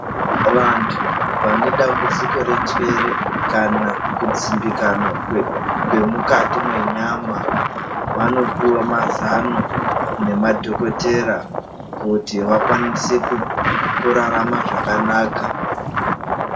Vantu vane dambudziko renjwere kana kudzimbikana kwemukati mwenyama vanopiwa mazano nemadhokodhetera kuti vakwanise kurarama zvakanaka.